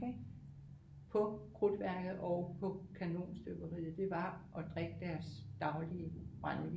På krudtværket og på kanonstøberiet det var at drikke deres daglige brændevin